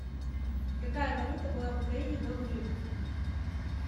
какая валюта была в украине до гривны